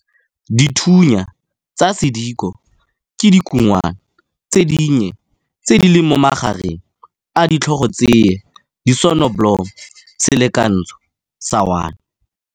Dithunya tsa sediko ke dikungwana tse dinnye tse di leng mo magareng a ditlhogotsya disonobolomo Selekantsho sa 1.